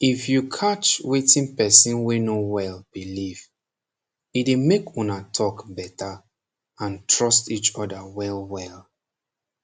if you catch wetin person wey no wel believe e fit make una talk beta and trust each oda welwel